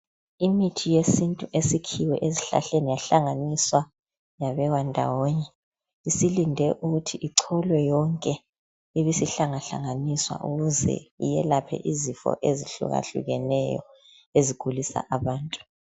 Imithi yesintu esikhiwe esihlahleni yahlanganiswa yabekwa ndawonye. Isilinde ukuthi icholwe yonke, ibisihlangahlanganiswa ukuze iyelaphe izifo ezahlukahlukeneyo. Ezigulisa abantu.